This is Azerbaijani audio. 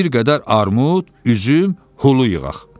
Bir qədər armud, üzüm, hulu yığaq.